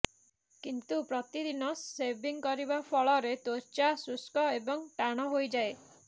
କିନ୍ତୁ ପ୍ରତିଦିନ ସେଭିଂ କରିବା ଫଳରେ ତ୍ୱଚା ସୁଷ୍କ ଏବଂ ଟାଣ ହୋଇଯାଏ